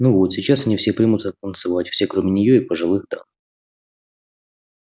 ну вот сейчас они все примутся танцевать все кроме нее и пожилых дам